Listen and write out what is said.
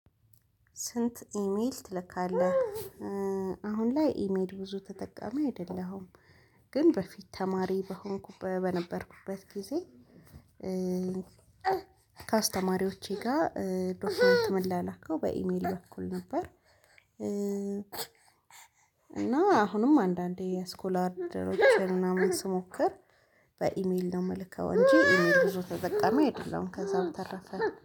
ስንት ኢሜል ትልካለህ? አሁን ላይ ኢሜል ብዙ ተጠቃሚ አይደለሁም። ግን በፊት ተማሪ በሆንኩበት በነበርኩበት ጊዜ። ከአስተማሪዎቼ ጋር ዶክተር እማላላከው በኢሜል በኩል ነበር። እና አሁንም አንዳንዴ የስኮላር እድሎችን ምናምን ስሞክር በኢሜል ነው የምልከው እንጂ ኢሜል ብዙ ተጠቀመ አይደለም። ከዛ በተረፈ